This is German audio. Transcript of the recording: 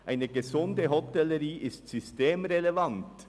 Eine gesunde Hotellerie ist systemrelevant.